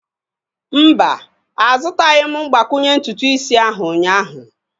Mba, azutaghim mgbakwunye ntutu isi ahu ụnyaahụ